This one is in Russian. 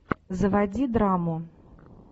заводи драму